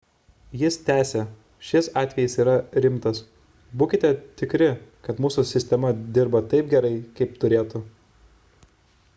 jis tęsė šis atvejis yra rimtas būkite tikri kad mūsų sistema dirba taip gerai kaip turėtų